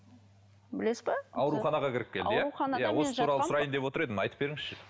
білесіз бе ауруханаға кіріп келді иә ауруханаға осы туралы сұрайын деп отыр едім айтып беріңізші